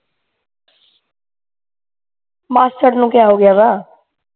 ਮਾਸੜ ਨੂੰ ਕਿਆ ਹੋ ਗਿਆ ਵਾ